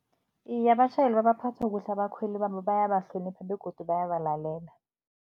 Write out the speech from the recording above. Iye, abatjhayeli babaphatha kuhle abakhweli babo, bayabahlonipha begodu bayabalalela.